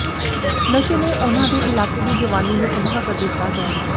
ਨਸ਼ੇ ਨੇ ਉਨ੍ਹਾਂ ਦੇ ਇਲਾਕੇ ਦੀ ਜਵਾਨੀ ਨੂੰ ਤਬਾਹ ਕਰ ਦਿੱਤਾ ਹੈ